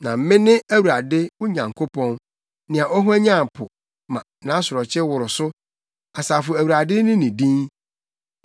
Na mene Awurade, wo Nyankopɔn nea ɔhwanyan po, ma nʼasorɔkye woro so. Asafo Awurade ne ne din.